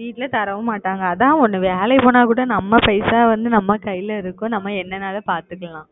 வீட்டுல தரவும் மாட்டாங்க அதன் நம்ம வேளைக்கு போனா கூட நம்ம பைசா வந்து நம்ம கைல இருக்கும் நம்ம என்னன்னாலும் பார்த்துக்கலாம்